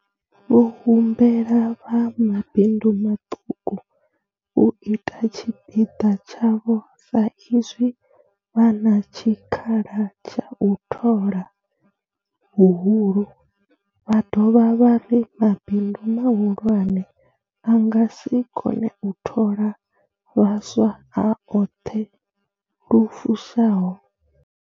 Vho humbela vha mabindu maṱuku u ita tshipiḓa tshavho sa izwi vha na tshikhala tsha u thola nga huhulu, vha dovha vha ri mabindu mahulwane a nga si kone u thola vhaswa a oṱhe lu fushaho.